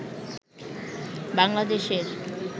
বাংলাদেশের